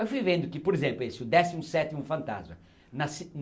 Aí fui vendo que, por exemplo, esse o décimo sétimo fantasma.